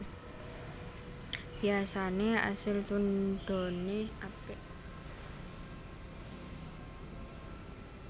Biyasane asil tundhone apik